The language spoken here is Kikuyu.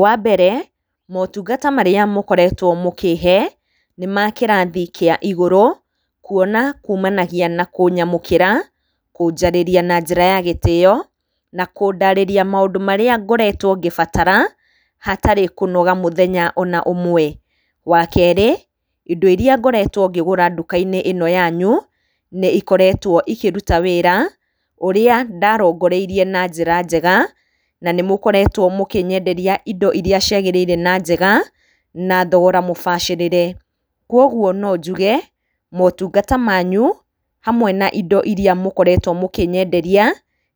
Wa mbere, motungata marĩa mũkoretwo mũkĩhe, nĩ ma kĩrathi kĩa igũrũ, kuona kuumanagia na kũnyamũkĩra, kũnjarĩria na njĩra ya gĩtĩo, na kũndarĩria maũndũ marĩa ngoretwo ngĩbatara, hatarĩ kũnoga mũthenya ona ũmwe. Wa keerĩ, indo irĩa ngoretwo ngĩgũra nduka-inĩ ĩno yanyu, nĩ ikoretwo ikĩruta wĩra, ũrĩa ndarongoreirie na njĩra njega, na nĩ mũkoretwo mũkĩnyenderia indo irĩa ciagĩrĩire na njega, na thogora mũbacĩrĩre. Kũguo no njuge, motungata manyu, hamwe na indo irĩa mũkoretwo mũkĩnyenderia,